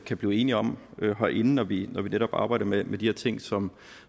kan blive enige om herinde når vi arbejder med med de her ting som